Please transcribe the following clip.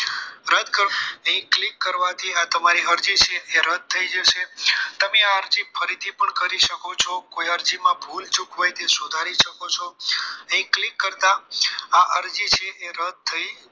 અહીં click કરવાથી આ તમારી અરજી છે એ રદ થઈ જશે તમે આ અરજી ફરીથી કરી શકો છો કોઈ અરજીમાં ભૂલચૂક હોય તે સુધારી શકો છો અહીં click કરતા આ અરજી છે એ રદ થઈ જશે